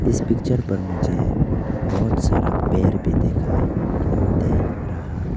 इस पिक्चर पर मुझे बहुत सारा पेड़ भी दिखाई दे रहा--